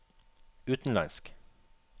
utenlandsk